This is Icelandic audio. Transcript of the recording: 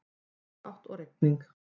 Sunnanátt og rigning